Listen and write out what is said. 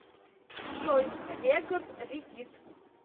джой регард регит